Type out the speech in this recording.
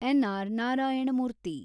N R Narayana Murthy